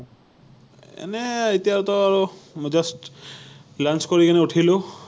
এনেই, এতিয়াতো আৰু just lunch কৰি কিনে উঠিলো৷